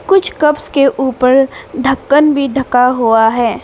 कुछ कप्स के ऊपर ढक्कन भी ढका हुआ है।